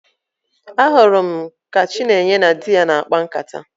Ahụrụ m ka Chinenye na di ya na-akpa nkata